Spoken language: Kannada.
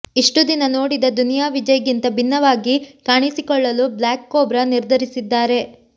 ಇಷ್ಟು ದಿನ ನೋಡಿದ ದುನಿಯಾ ವಿಜಯ್ ಗಿಂತ ವಿಭಿನ್ನವಾಗಿ ಕಾಣಿಸಿಕೊಳ್ಳಲು ಬ್ಲ್ಯಾಕ್ ಕೋಬ್ರಾ ನಿರ್ಧರಿಸಿದ್ದಾರೆ